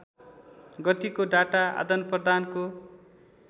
गतिको डाटा आदानप्रदानको